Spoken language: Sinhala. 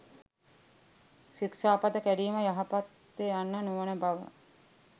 ශික්‍ෂාපද කැඩීම යහපත් ය යන්න නොවන බව